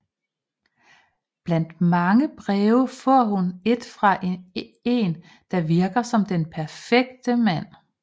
Blandt mange breve får hun et fra en der virker som den perfekte mand